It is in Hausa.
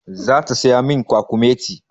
Zata saya min kwakumeti.